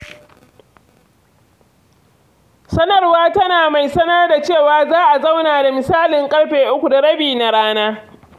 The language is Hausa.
Sanarwar tana mai sanar da cewa za a zauna da misalin uku da rabi na rana.